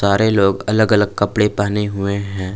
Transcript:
सारे लोग अलग अलग कपड़े पहने हुए हैं।